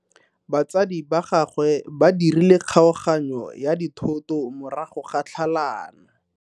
Batsadi ba gagwe ba dirile kgaoganyo ya dithoto morago ga tlhalano.